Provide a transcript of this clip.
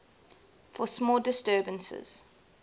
for small disturbances